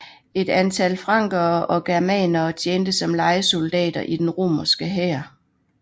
Et antal frankere og germanere tjente som lejesoldater i den romerske hær